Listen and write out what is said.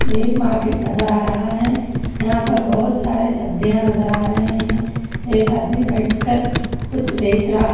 एक मार्केट नजर आ रहा है यहां पर बहोत सारे सब्जियां नजर आ रहे हैं एक आदमी बैठकर कुछ बेच रहा--